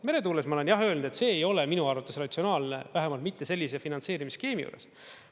Meretuules ma olen jah öelnud, et see ei ole minu arvates ratsionaalne, vähemalt mitte sellise finantseerimisskeemi juures.